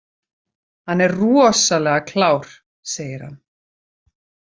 Hann er rosalega klár, segir hann.